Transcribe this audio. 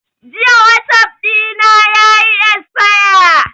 Jiya wasap ɗina yayi esfaya